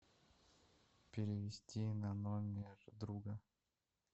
перевести на номер друга